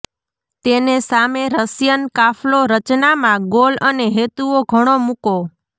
તેને સામે રશિયન કાફલો રચનામાં ગોલ અને હેતુઓ ઘણો મૂકો